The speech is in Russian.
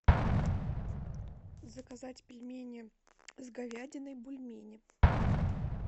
заказать пельмени с говядиной бульмени